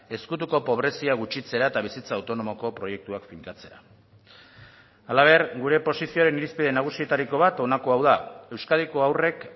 ezkutuko pobrezia gutxitzera eta bizitza autonomoko proiektuak finkatzera halaber gure posizioaren irizpide nagusietariko bat honako hau da euskadiko haurrek